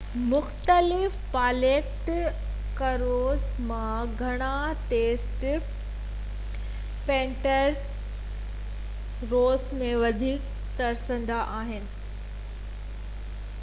مختلف Baltic cruise مان گهڻا سينٽ پيٽرزبرگ روس ۾ وڌيڪ ترسندا آهن